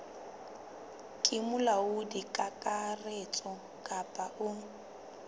ke molaodi kakaretso kapa o